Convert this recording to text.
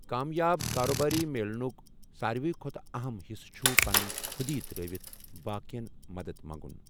کامیاب کاربٲری میلنُک ساروی کھۄتہٕ اہم حصہٕ چھُ پَننٕنۍ خُودی ترٛٲوٕتھ باقیَن مدد منٛگُن۔